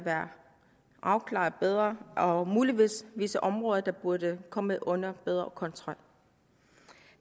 afklaret bedre og muligvis visse områder der burde komme under bedre kontrol